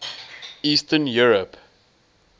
eastern europe